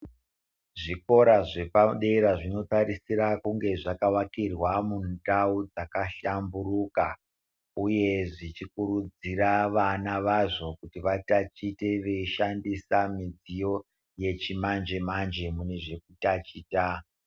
Zvikora zvepadera zvinotarisira kunge zvakavakirwa mundau dzakahlamburuka uye zvichikurudzira vana vazvo kuti vatatiche vachishandisa midziyo yechimanje-manje mune zvekutachita.